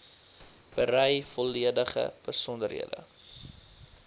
berei volledige besonderhede